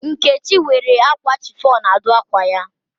Nkechi were akwa chiffon a dụ akwa ya.